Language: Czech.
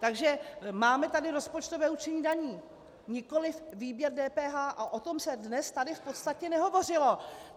Takže máme tady rozpočtové určení daní, nikoliv výběr DPH a o tom se dnes tady v podstatě nehovořilo.